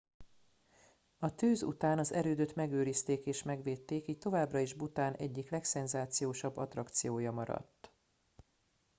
a tűz után az erődöt megőrizték és megvédték így továbbra is bhután egyik legszenzációsabb attrakciója maradt